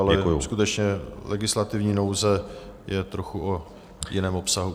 Ale skutečně legislativní nouze je trochu o jiném obsahu.